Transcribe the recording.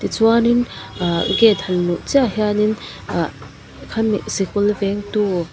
ti chuan in ahh gate han luh chiah hian in ahh khami sikul vengtu--